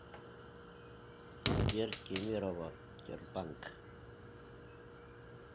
сбер кемерово тербанк